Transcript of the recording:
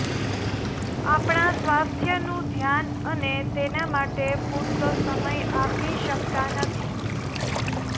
આપણા સ્વાસ્થ્યનું ધ્યાન અને તેના માટે પૂરતો સમય આપી શકતા નથી